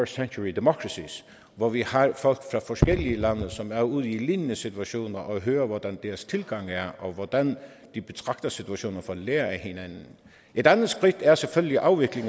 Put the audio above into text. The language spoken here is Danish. century democracies hvor vi har folk fra forskellige lande som er ude i lignende situationer og hører hvordan deres tilgang er og hvordan de betragter situationen for at lære af hinanden et andet skridt er selvfølgelig afvikling